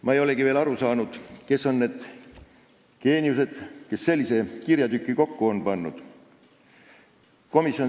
Ma ei olegi veel aru saanud, kes on need geeniused, kes sellise kirjatüki kokku on pannud.